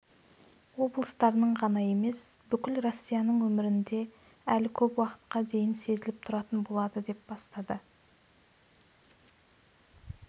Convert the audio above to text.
облыстарының ғана емес бүкіл россияның өмірінде әлі көп уақытқа дейін сезіліп тұратын болады деп бастады